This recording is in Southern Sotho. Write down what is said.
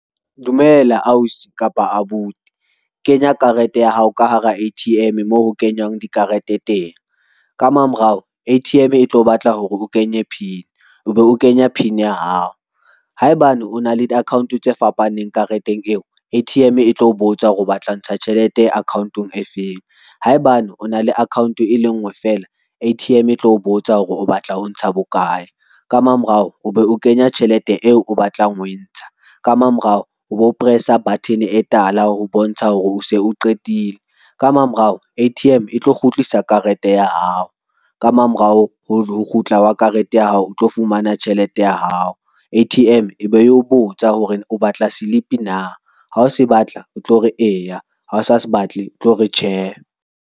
Dumela ausi kapa abuti. Kenya karete ya hao ka hara A_T_M moo ho kenyang dikarete teng ka mamorao, A_T_M e tlo batla hore ho kenye pin, o be o kenya pin ya hao. Haebane o na le di-account tse fapaneng kareteng eo, A_T_M e tlo botsa hore o batla ho ntsha tjhelete account-ong e feng, haebane o na le account e lengwe fela, A_T_M e tlo botsa hore o batla ho ntsha bokae ka mamorao o be o kenya tjhelete eo o batlang ho e ntsha ka mamorao o bo press-a button e tala ho bontsha hore o se o qetile ka mamorao, A_T_M e tlo kgutlisa karete ya hao ka mamorao ho kgutla wa karete ya hao, o tlo fumana tjhelete ya hao. A_T_M e be eo botsa hore o batla slip na ha o se batla o tlo re eya ha o sa batle tlo re tjhe.